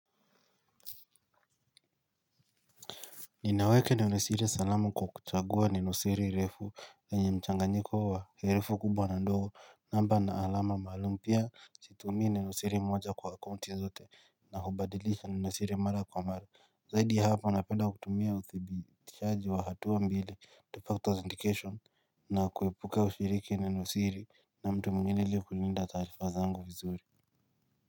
Ninaweke nenosiri salamu kwa kuchagua nenosiri refu yenye mchanganyiko wa herufi kubwa na ndogo namba na alama maalum pia situmii nenosiri moja kwa akaunti zote na hubadilisha nenosiri mara kwa mara. Zaidi ya hapo napenda kutumia uthibitishaji wa hatua mbili two factors indication na kuepuke ushiriki nenosiri na mtu mwengine ili kulinda taarifa zangu vizuri Muzika.